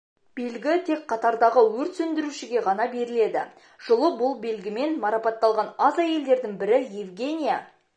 белгі тек қатардағы өрт сөндірушіге ғана беріледі жылы бұл белгімен марапатталған аз әйелдердің бірі евгения